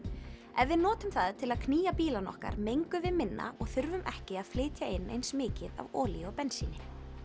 ef við notum það til að knýja bílana okkar mengum við minna og þurfum ekki að flytja eins mikið af olíu og bensíni